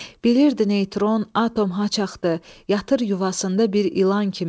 Bilirdi neytron atom haçaxdı, yatır yuvasında bir ilan kimi.